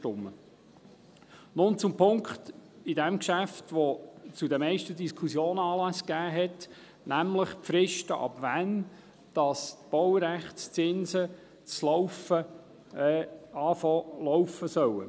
Nun zu jenem Punkt in diesem Geschäft, der zu den meisten Diskussionen Anlass gegeben hat, nämlich die Fristen, ab wann die Baurechtszinsen zu laufen beginnen sollen.